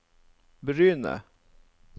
Bryne